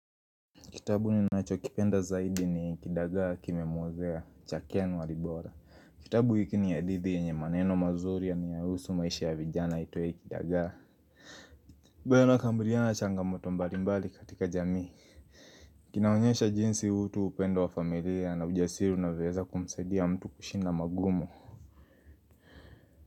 Kitabu ninachokipenda zaidi ni kidagaa kimemwozea, cha ken walibora. Kitabu hiki ni hadithi yenye maneno mazuri yanayohusu maisha ya vijana iitwayo kidagaa ambayo inakabiliana na changamoto mbalimbali katika jamii. Kinaonyesha jinsi utu upendo wa familia na ujasiri na unavyoweza kumsaidia mtu kushinda magumu.